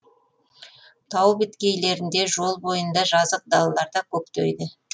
тау беткейлерінде жол бойында жазық далаларда көктейді